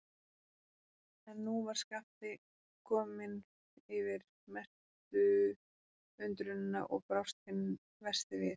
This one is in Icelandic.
En nú var Skapti kominn yfir mestu undrunina og brást hinn versti við.